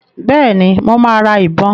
Bẹ́ẹ̀ni, mo máa ra ìbọn.